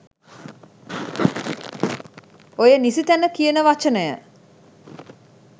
ඔය "නිසිතැන" කියන වචනය